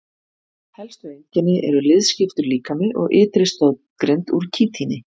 Helstu einkenni eru liðskiptur líkami og ytri stoðgrind úr kítíni.